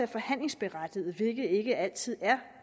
forhandlingsberettet hvilket ikke altid er